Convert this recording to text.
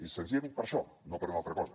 és senzillament per això no per una altra cosa